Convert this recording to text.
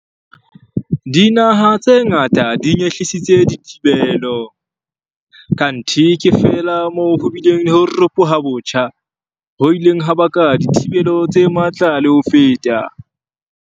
Dinaha tse ngata di nyehlisitse dithibelo, kanthe ke feela moo ho bileng le ho ropoha botjha, ho ileng ha baka dithibelo tse matla le ho feta.